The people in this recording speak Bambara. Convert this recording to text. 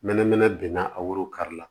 Mɛnɛmɛnɛ benna a woro kari la